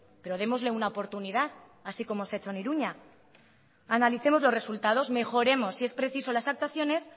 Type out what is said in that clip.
pero démosle una oportunidad así como se ha hecho en iruña analicemos los resultados mejoremos si es preciso las actuaciones